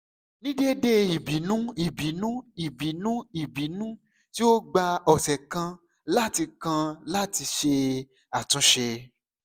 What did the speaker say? ni deede ibinu ibinu ibinu ibinu ti o gba ọsẹ kan lati kan lati ṣe atunṣe